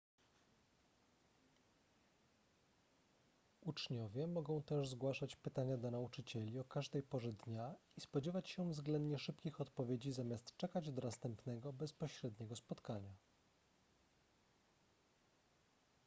uczniowie mogą też zgłaszać pytania do nauczycieli o każdej porze dnia i spodziewać się względnie szybkich odpowiedzi zamiast czekać do następnego bezpośredniego spotkania